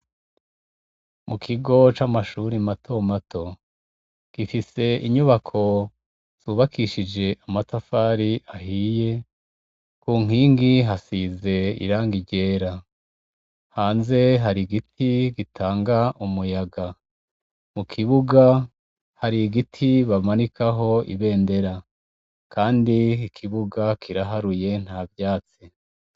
Mukigo camashure matomato gifise inyubako zubakishijwe amatafari ahiye kunkigi hasize irangi ryera hanze hari igiti gitanga umuyaga mukibuga hari igiti bamanikaho ibendera kandi ikibuga kiraharuye ntavyazi